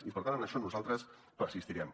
i per tant en això nosaltres persistirem